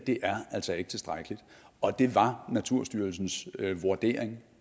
altså ikke er tilstrækkeligt og det var naturstyrelsens vurdering